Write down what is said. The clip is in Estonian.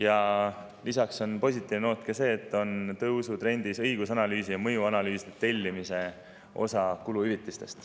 Ja lisaks on positiivne noot see, et kuluhüvitiste puhul on tõusutrendis õigus- ja mõjuanalüüside tellimise osa.